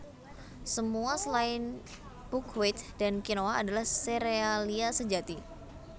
Semua selain buckwheat dan kinoa adalah serealia sejati